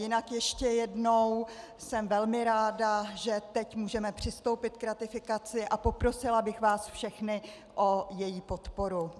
Jinak ještě jednou, jsem velmi ráda, že teď můžeme přistoupit k ratifikaci, a poprosila bych vás všechny o její podporu.